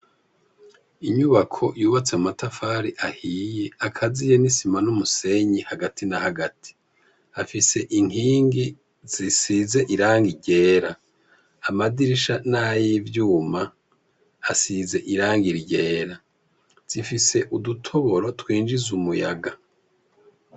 Inyubako yubatse mu matafari ahiye akaziye n'isima n'umusenyi hagati na hagati afise inkingi zisize iranga ryera amadirisha n'ay'ivyuma asize iranga ryera zifise udutoboro twinjize umuyaga.